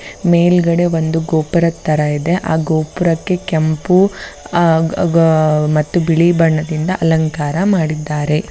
ಮೇಲ್ಗಡೆ ಒಂದು ಗೋಪುರದ ತರ ಇದೆ ಆ ಗೋಪುರಕ್ಕೆ ಕೆಂಪು ಆಹ್ಹ್ ಮತ್ತು ಬಿಳಿ ಬಣ್ಣದಿಂದ ಅಲಂಕಾರ ಮಾಡಿದ್ದಾರೆ .